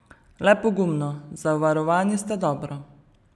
Le pogumno, zavarovani ste dobro!